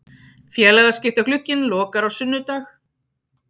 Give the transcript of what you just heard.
Félagaskiptaglugginn lokar á sunnudag.